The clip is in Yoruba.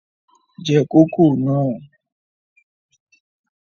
Je kòkó náà!